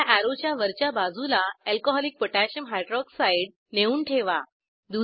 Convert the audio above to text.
पहिल्या अॅरोच्या वरच्या बाजूला अल्कोहॉलिक पोटॅशियम हायड्रॉक्साइड alcकोह नेऊन ठेवा